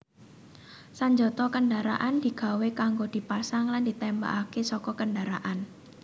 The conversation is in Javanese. Sanjata kendaraan digawé kanggo dipasang lan ditémbakaké saka kendharaan